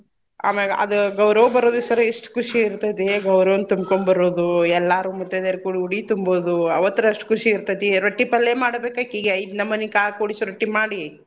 ಆಮ್ಯಾಗ ಅದ ಗೌರವ್ವ ಬರು ದೀವ್ಸ್ ರ ಎಷ್ಟ್ ಕುಶಿ ಇರ್ತೇತಿ ಗೌರವ್ನ್ ತುಂಬ್ಕೊಂಬರುದೂ ಎಲ್ಲಾರೂ ಮುತೈದೇರ್ ಕೂಡ್ ಉಡಿ ತುಂಬೋದು ಅವತ್ತರ್ ಅಷ್ಟ್ ಕುಶಿ ಇರ್ತೇತಿ. ರೊಟ್ಟಿ ಪಲ್ಲೇ ಮಾಡ್ಬೇಕ್ ಅಕಿಗೆ ಐದ್ ನಮನಿ ಕಾಳ್ ಕೂಡ್ಸಿ ರೊಟ್ಟಿ ಮಾಡಿ .